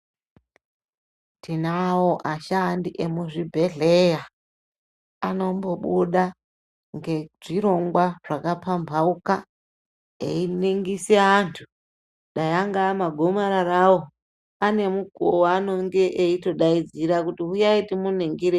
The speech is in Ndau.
Tinawo ashandi emu zvibhedhleya anombo buda ngezvirongwa zvaka pambauka einingise antu dai ankava magomarara avo ane mukuvo wanonge eito daidzira kuti huyai timu ningire.